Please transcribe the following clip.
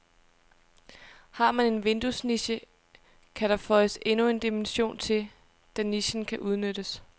Har man en vinduesniche, kan der føjes endnu en dimension til, da nichen kan udnyttes.